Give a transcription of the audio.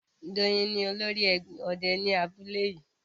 Doyin ni olórí òde ní abúlé yìí